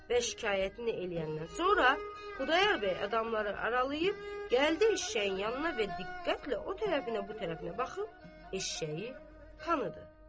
Və şikayətini eləyəndən sonra Xudayar bəy adamları aralayıb, gəldi eşşəyin yanına və diqqətlə o tərəfinə, bu tərəfinə baxıb, eşşəyi tanıdı.